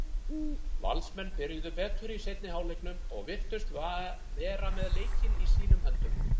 Valsmenn byrjuðu betur í seinni hálfleiknum og virtust vera með leikinn í sínum höndum.